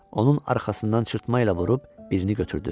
Onun arxasından çırpma ilə vurub birini götürdü.